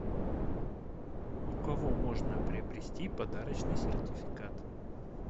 у кого можно приобрести подарочный сертификат